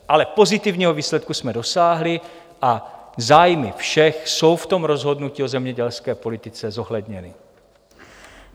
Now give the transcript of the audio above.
Ale pozitivního výsledku jsme dosáhli a zájmy všech jsou v tom rozhodnutí o zemědělské politice zohledněny.